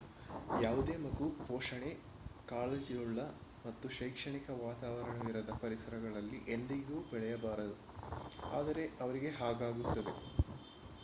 ಯಾವುದೇ ಮಗು ಪೋಷಣೆ ಕಾಳಜಿಯುಳ್ಳ ಮತ್ತು ಶೈಕ್ಷಣಿಕ ವಾತಾವರಣವಿರದ ಪರಿಸರಗಳಲ್ಲಿ ಎಂದಿಗೂ ಬೆಳೆಯಬಾರದು ಆದರೆ ಅವರಿಗೆ ಹಾಗಾಗುತ್ತದೆ